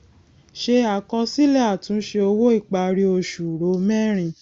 se àkọsílẹ àtúnṣe owó ìparí oṣù ro mẹrin